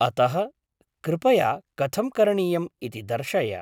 अतः, कृपया कथं करणीयम् इति दर्शय।